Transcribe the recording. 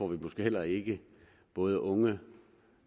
vi måske heller ikke både unge